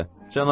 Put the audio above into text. boş sözdü.